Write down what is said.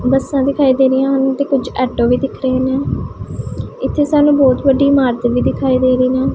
ਬੱਸਾਂ ਦਿਖਾਈ ਦੇ ਰਹੀਆਂ ਹਨ ਤੇ ਕੁਝ ਐਟੋ ਵੀ ਦਿਖ ਰਹੇ ਨੇ ਇੱਥੇ ਸਾਨੂੰ ਬਹੁਤ ਵੱਡੀ ਇਮਾਰਤ ਵੀ ਦਿਖਾਈ ਦੇ ਰਹੇ ਨਾਲ।